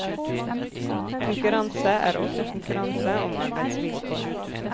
Konkurranse er også konkurranse om arbeidsvilkår.